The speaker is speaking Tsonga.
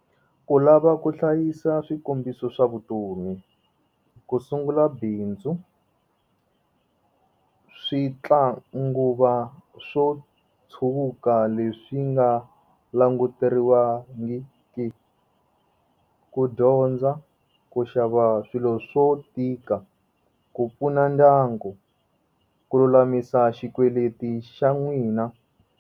Ku lava ku hlayisa swikombiso swa vutomi ku sungula bindzu switlangukuva swo tshwuka leswi nga languteriwangiki ku dyondza ku xava swilo swo tika ku pfuna ndyangu ku lulamisa xikweleti xa n'wina.